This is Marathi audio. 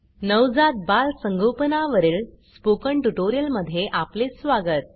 नवजात बाल संगोपना वरील स्पोकन ट्युटोरियल मध्ये आपले स्वागत